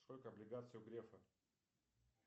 сколько облигаций у грефа